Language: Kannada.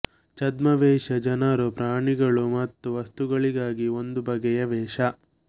ಛದ್ಮವೇಷ ಜನರು ಪ್ರಾಣಿಗಳು ಮತ್ತು ವಸ್ತುಗಳಿಗಾಗಿ ಒಂದು ಬಗೆಯ ವೇಷ